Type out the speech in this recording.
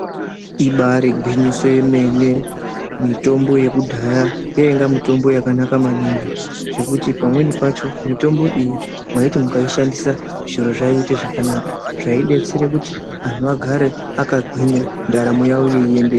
Ibari gwinyiso yemene mitombo yekudhaya yainaga mitombo yakanaka maningi zvekuti pamweni pacho mitombo iyi mwaiti mukaishandisa zviro zvaiite zvakanaka zvaidetsere kuti anhu agare akagwinya ndaramo yawo yeindeka.